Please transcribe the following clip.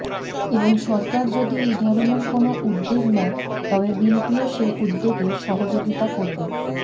এবং সরকার যদি এই ধরণের কোনও উদ্দ্যোগ নেয় তবে বিনপিও সেই উদ্যোগে সহযোগিতা করবে